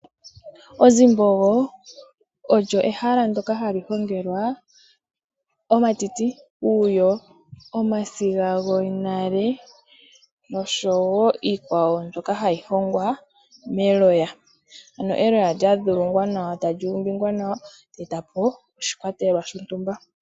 Onzimbogo olyo ehala ndokahongelwa omatiti nomalwiyo omasiga gonale nosho wo iikwawo mbyoka hayi longwa meloya ano eloya lya dhilongwa nawa eta li eta po oshikwatelwa shontumba.